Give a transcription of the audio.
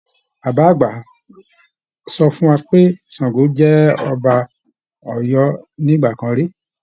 Bàbá àgbà sọ fún wa pé Ṣàngó jẹ́ ọba Ọ̀yọ́ tìgbà kan ri